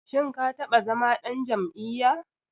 Shim ka taɓa zama ɗan jam'iyya?